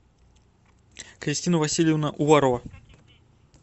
кристина васильевна уварова